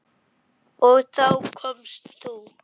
Og þá komst þú.